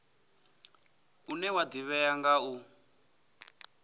une wa ḓivhea nga u